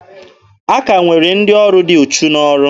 A ka nwere ndị ọrụ dị uchu n'ọrụ.